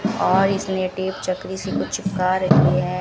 और इसलिए टेप चक्री से कुछ चिपका रही है।